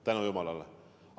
Tänu jumalale!